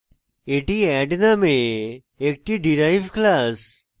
এটি add named একটি derived class